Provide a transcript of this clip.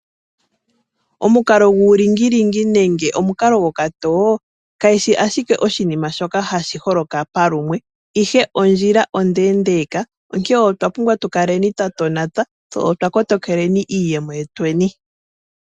Omukalo guulingilingi nenge omukalo gokatowo, kayishi ashike oshinima shoka hashiholoka palumwe, ihe ondjila ondeendeka, onke otwa pumbwa tukaleni twatonata tse otwa kotokeleni iiyemo yetweni.